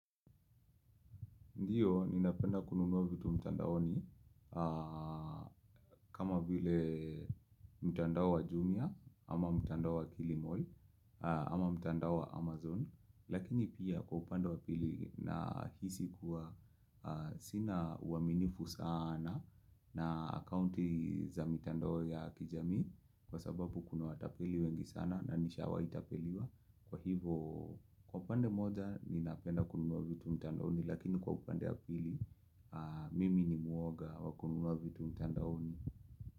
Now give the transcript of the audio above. Ndiyo, ninapenda kununua vitu mtandaoni kama vile mtandao wa jumia ama mtandao wa kilimall ama mtandao wa amazon. Lakini pia kwa upande wa pili nahisi kuwa sina uaminifu saana na akounti za mitandao ya kijamii kwa sababu kuna watapeli wengi sana na nishawai tapeliwa. Kwa hivo, kwa upande moja ni napenda kununua vitu mtandaoni Lakini kwa upande ya pili, mimi ni muoga wa kununua vitu mtandaoni.